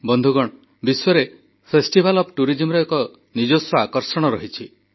ବନ୍ଧୁଗଣ ବିଶ୍ୱରେ festival of ଟୁରିଜିମର ସ୍ୱତନ୍ତ୍ର ଏକ ଆକର୍ଷଣ ରହିଛି